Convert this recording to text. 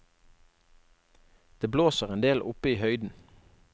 Det blåser endel oppe i høyden.